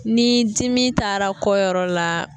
Ni dimi taara kɔ yɔrɔ la